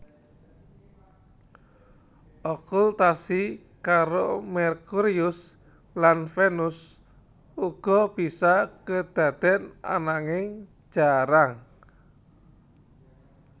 Okultasi karo Merkurius lan Venus uga bisa kedaden ananging jarang